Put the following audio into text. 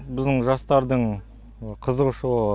біздің жастардың қызығушылығы